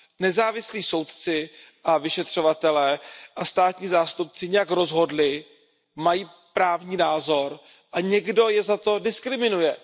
Nezávislí soudci a vyšetřovatelé a státní zástupci nějak rozhodli, mají právní názor a někdo je za to diskriminuje.